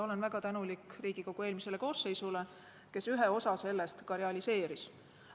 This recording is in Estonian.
Olen väga tänulik Riigikogu eelmisele koosseisule, kes ühe osa sellest ka realiseeris.